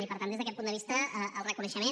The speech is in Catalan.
i per tant des d’aquest punt de vista el reconeixement